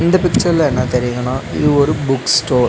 இந்த பிக்சர்ல என்ன தெரியுதுன்னா இது ஒரு புக் ஸ்டோர் .